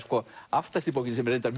aftast í bókinni sem er reyndar